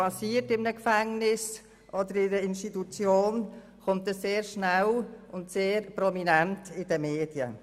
Wenn in einem Gefängnis oder in einer Institution etwas passiert, erscheint es sehr schnell und sehr prominent in den Medien.